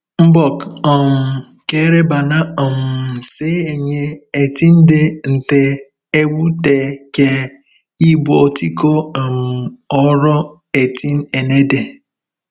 Mbọk um kere ban̄a um se enye etịn̄de nte ẹwụtde ke ibuotikọ um oro etienede.